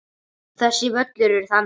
Þessi völlur er þannig.